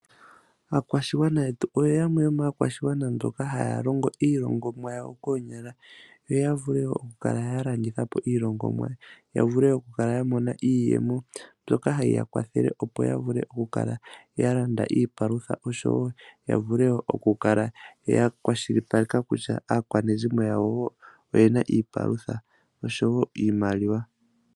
Aakwashigwana yetu oyo yamwe yomaakwashigwana mboka haya longo iilongomwa yawo koonyala yo vule okukala ya landitha po iilongomwa ya vule okukala ya mona mo iiyemo mbyoka hayi ya kwathele opo ya vule okukala ya landa iipalutha yo ya kale ya kwashilipaleka kutya aakwanezimo yawo oye na iipalutha noshowo iimaliwa.